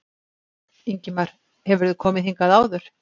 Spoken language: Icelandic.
Ingimar: Hefurðu komið hingað áður?